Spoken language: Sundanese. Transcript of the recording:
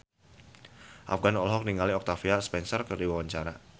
Afgan olohok ningali Octavia Spencer keur diwawancara